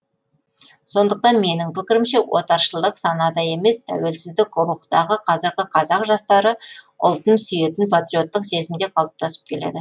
сондықтан менің пікірімше отаршылдық санада емес тәуелсіздік рухтағы қазіргі қазақ жастары ұлтын сүйетін патриоттық сезімде қалыптасып келеді